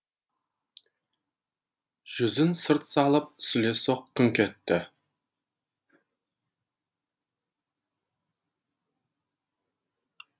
жүзін сырт салып сүлесоқ күңк етті